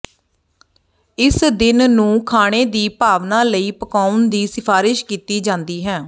ਇਸ ਦਿਨ ਨੂੰ ਖਾਣੇ ਦੀ ਭਾਵਨਾ ਲਈ ਪਕਾਉਣ ਦੀ ਸਿਫਾਰਸ਼ ਕੀਤੀ ਜਾਂਦੀ ਹੈ